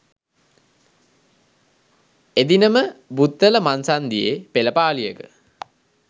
එදිනම බුත්තල මංසන්‍ධියේ පෙළපාලියක